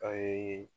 A ye